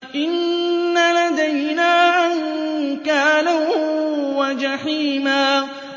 إِنَّ لَدَيْنَا أَنكَالًا وَجَحِيمًا